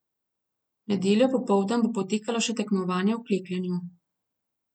V nedeljo popoldan bo potekalo še tekmovanje v klekljanju.